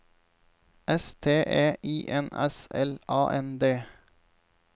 S T E I N S L A N D